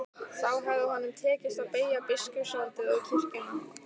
Þá hefði honum tekist að beygja biskupsvaldið og kirkjuna.